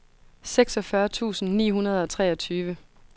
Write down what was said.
seksogfyrre tusind ni hundrede og treogtyve